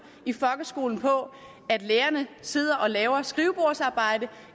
i folkeskolen på at lærerne sidder og laver skrivebordsarbejde